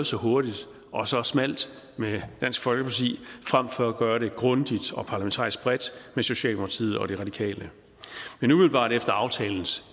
så hurtigt og så smalt med dansk folkeparti frem for at gøre det grundigt og parlamentarisk bredt med socialdemokratiet og de radikale men umiddelbart efter aftalens